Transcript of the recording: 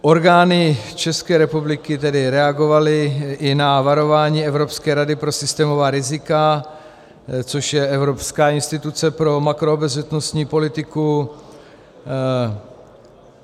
Orgány České republiky tedy reagovaly i na varování Evropské rady pro systémová rizika, což je evropská instituce pro makroobezřetnostní politiku.